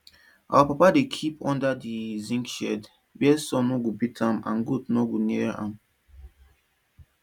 our papa dey kip under di zinc shed wia sun no go beat am and goat no go near am